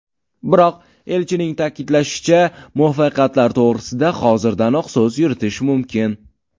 Biroq, elchining ta’kidlashicha, muvaffaqiyatlar to‘g‘risida hozirdanoq so‘z yuritish mumkin.